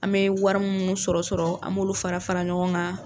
An bɛ wari minnu sɔrɔ sɔrɔ an m'olu fara fara ɲɔgɔn kan.